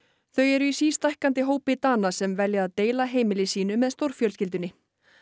þau eru í sístækkandi hópi Dana sem velja að deila heimili sínu með stórfjölskyldunni